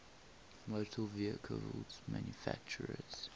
motor vehicle manufacturers